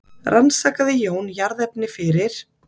Rannsakaði Jón jarðefni fyrir